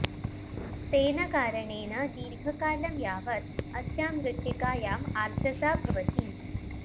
तेन कारणेन दीर्घकालं यावत् अस्यां मृत्तिकायाम् आर्द्रता भवति